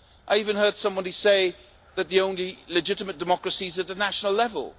I even heard somebody say that the only legitimate democracies are at the national level.